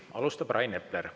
Alustab Rain Epler.